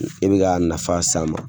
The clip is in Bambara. E bɛ ka nafa s'a ma